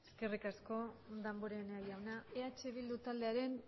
eskerrik asko damborenea jauna eh bildu taldearen